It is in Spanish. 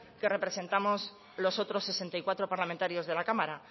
que representamos los otros sesenta y cuatro parlamentarios de la cámara